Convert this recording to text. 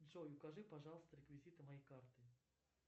джой укажи пожалуйста реквизиты моей карты